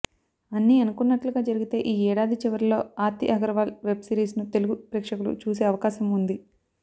అన్ని అనుకున్నట్లుగా జరిగితే ఈ ఏడాది చివర్లో ఆర్తి అగర్వాల్ వెబ్ సిరీస్ను తెలుగు ప్రేక్షకులు చూసే అవకాశం ఉంది